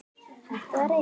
Hættið að reykja!